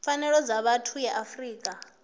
pfanelo dza vhathu ya afrika